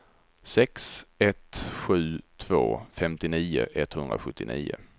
sex ett sju två femtionio etthundrasjuttionio